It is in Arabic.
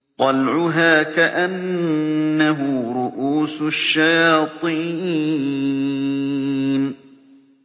طَلْعُهَا كَأَنَّهُ رُءُوسُ الشَّيَاطِينِ